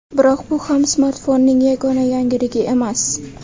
Biroq bu ham smartfonning yagona yangiligi emas.